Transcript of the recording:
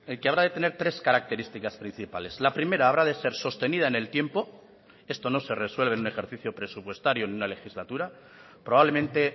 que habrá de tener tres características principales la primera habrá de ser sostenida en el tiempo esto no se resuelve en un ejercicio presupuestario en una legislatura probablemente